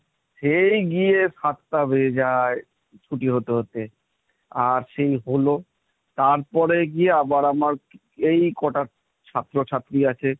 সেই গিয়ে সাতটা বেজে যায় ছুটি হতে হতে, আর সেই হল তারপরে গিয়ে আবার আমার এই কটা ছাত্রছাত্রী আছে,